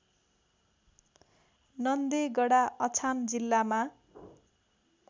नन्देगडा अछाम जिल्लामा